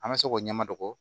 An bɛ se k'o ɲɛma dogo